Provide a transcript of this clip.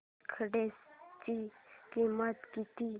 तिकीटाची किंमत किती